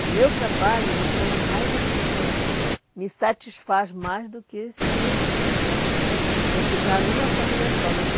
O meu trabalho me chama mais atenção, me satisfaz mais do que se se eu ficar numa família só né.